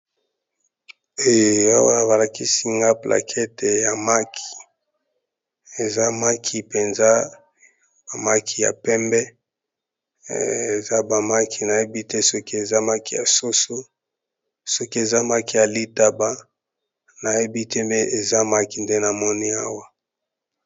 Eh awa ba lakisi nga plaquete ya maki, eza maki mpenza ba maki ya pembe eza ba maki nayebi te soki eza maki ya soso soki eza maki ya litaba nayebi te me eza maki nde na moni awa.